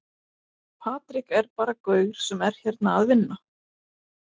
Patrik er bara gaur sem er hérna að vinna.